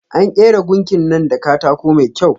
An kera gunkin nan da katako mai kyau.